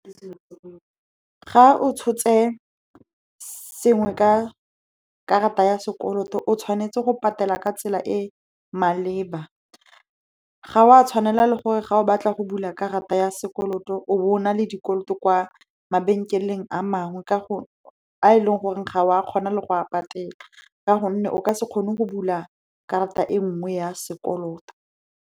Ga o tshotse sengwe ka karata ya sekoloto, o tshwanetse go patela ka tsela e e maleba. Ga o a tshwanela le gore ga o batla go ya karata ya sekoloto, o bo o na le dikoloto kwa mabenkeleng a mangwe, a e leng gore ga o a kgona le go a patela, ka gonne o ka se kgone go bula karata e nngwe ya sekoloto.